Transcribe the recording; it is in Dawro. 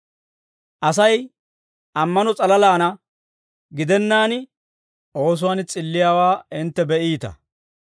Asay ammano s'alalaana gidennaan, oosuwaan s'illiyaawaa hintte be'iita.